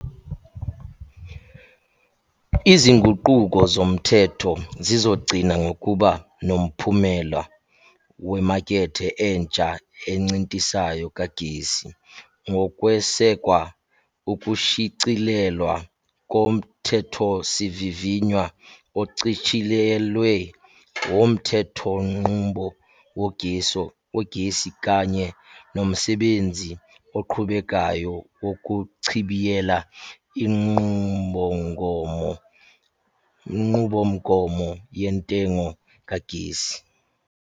Izinguquko zomthetho zizogcina ngokuba nomphumela wemakethe entsha encintisayo kagesi, ngokwesekwa ukushicilelwa koMthethosivivinywa Ochitshiyelwe Womthe thonqubo Wogesi kanye nomsebenzi oqhubekayo wokuchibiyela iNqubomgomo Yentengo Kagesi.